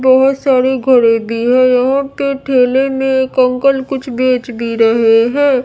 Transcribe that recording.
बहुत सारे घड़े भी हैं और ठेले में अंकल कुछ बेच भी रहे हैं।